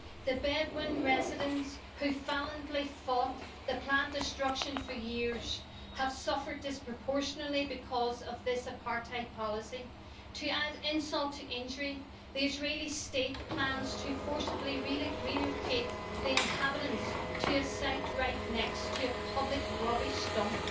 The Bedouin residents, who valiantly fought the planned destruction for years, have suffered disproportionately because of this apartheid policy. To add insult to injury, the Israeli State plans to forcibly relocate the inhabitants to a site right next to a public rubbish dump.